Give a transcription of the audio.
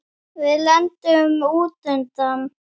Við lendum út undan.